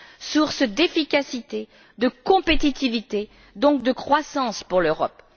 source d'efficacité, de compétitivité, donc de croissance pour l'Europe.